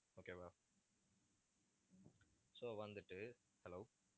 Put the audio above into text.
okay வா so வந்துட்டு hello